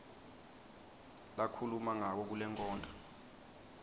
lakhuluma ngako kulenkondlo